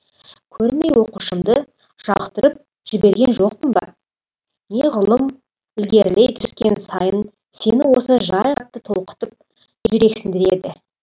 көрмей оқушымды жалықтырып жіберген жоқпын ба неғұрлым ілгерілей түскен сайын сені осы жай толқытып жүрексіндіреді